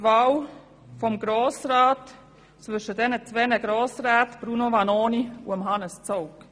Heute hat der Grosse Rat die Auswahl zwischen den beiden Grossräten Bruno Vanoni und Hannes Zaugg.